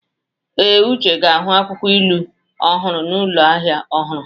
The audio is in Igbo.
Ee, Uche ga-ahụ akwụkwọ ilu ọhụrụ n'ụlọ ahịa ọhụrụ